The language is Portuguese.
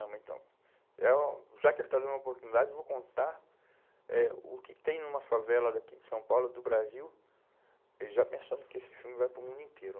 Então, é um... Já que ele está dando uma oportunidade, eu vou contar eh o que tem numa favela daqui de São Paulo, do Brasil, e já pensando que esse filme vai para o mundo inteiro.